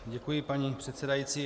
Děkuji, paní předsedající.